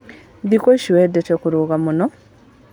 Thikũ ici wendete kũruga mũno?